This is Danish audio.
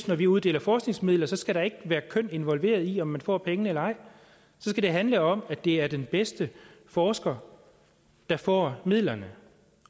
når vi uddeler forskningsmidler skal der ikke være køn involveret i om man får pengene eller ej så skal det handle om at det er den bedste forsker der får midlerne